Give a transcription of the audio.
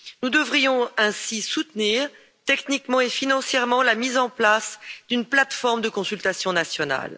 Nous devrions ainsi soutenir techniquement et financièrement la mise en place d'une plateforme de consultation nationale.